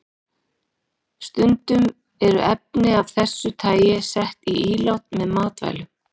Stundum eru efni af þessu tagi sett í ílát með matvælum.